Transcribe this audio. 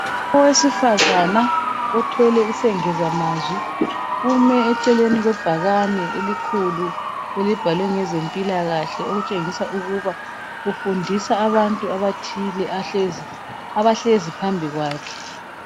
Owesifazana othwele isengezamazwi, ume eceleni kwebhakane elikhulu elibhalwe ngezempilakahle okutshengisa ukuba ufundisa abantu abathile abahlezi phambikwakhe.